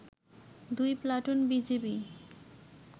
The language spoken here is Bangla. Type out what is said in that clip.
দুই প্লাটুন বিজিবি